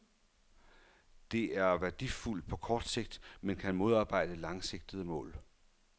Det er værdifuldt på kort sigt, men kan modarbejde langsigtede mål.